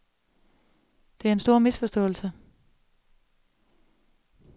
Det er en stor misforståelse.